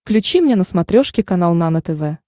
включи мне на смотрешке канал нано тв